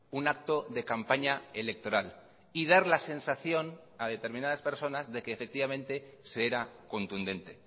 un acto de campaña electoral y dar la sensación a determinadas personas de que efectivamente se era contundente